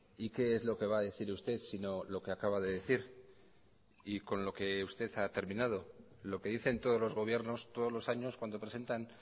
y qué es lo que va a decir usted si no lo que acaba de decir y con lo que usted ha terminado lo que dicen todos los gobiernos todos los años cuando presentan